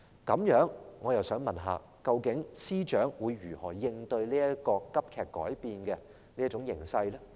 這樣，我想問司長，究竟他會如何應對這個急劇改變的形勢呢？